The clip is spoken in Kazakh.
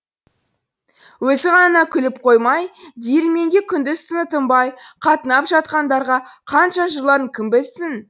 өзі ғана күліп қоймай диірменге күндіз түні тынбай қатынап жатқандарға қанша жырларын кім білсін